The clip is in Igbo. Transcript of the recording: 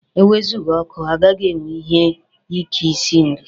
E wezụga ọkụ, agaghị enwe ike i si nri.